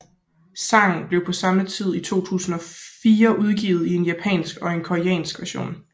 Sangen blev på samme tid i 2004 udgivet i en japansk og en koreansk version